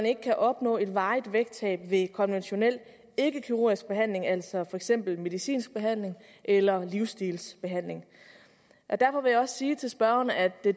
ikke kan opnå et varigt vægttab ved konventionel ikkekirurgisk behandling altså for eksempel medicinsk behandling eller livsstilsbehandling derfor vil jeg også sige til spørgeren at det